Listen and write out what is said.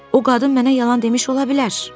O qadın mənə yalan demiş ola bilər.